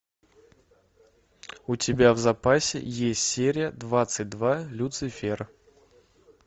у тебя в запасе есть серия двадцать два люцифер